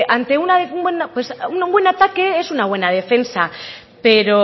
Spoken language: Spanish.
un buen ataque es una buena defensa pero